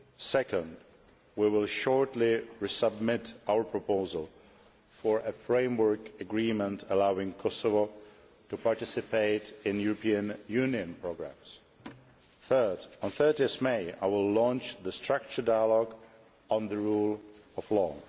Second, we will shortly resubmit our proposal for a framework agreement allowing Kosovo to participate in European Union programmes. Third, on 30 May, I will launch the structured dialogue on the rule of law.